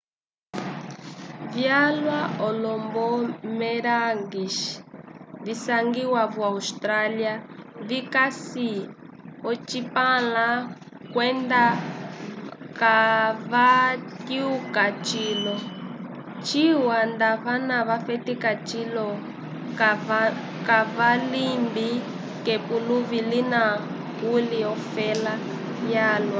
vyalwa olo-boomerangs visangiwa vo-austrália vikasi ocipãla kwenda kavatyuka cilo ciwa nda vana vafetika cilo kavalimbi k'epuluvi lina kuli ofela yalwa